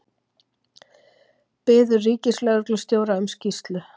Biður ríkislögreglustjóra um skýrslu